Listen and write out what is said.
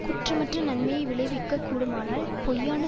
குற்றமற்ற நன்மையை விளைவிக்க கூடுமானால் பொய்யான